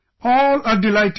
All are delighted